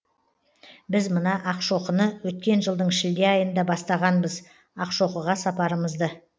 біз мына ақшоқыны өткен жылдың шілде айында бастағанбыз ақшоқыға сапарымызды